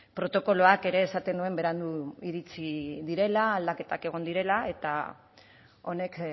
protokoloak ere esaten nuen berandu iritsi direla aldaketak egon direla eta honek